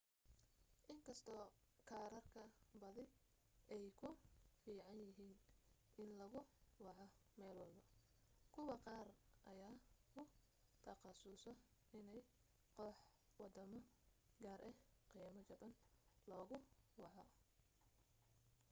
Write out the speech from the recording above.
inkastoo kaararka badi ay ku fiican yihiin in lagu waco meel walbo kuwa qaar ayaa ku takhasuso inay koox wadamo gaar ah qiimo jaban lagu waco